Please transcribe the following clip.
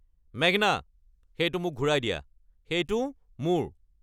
মেঘনা, সেইটো মোক ঘূৰাই দিয়া। সেইটো মোৰ!